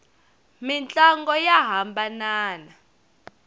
mintlangu ya hambanana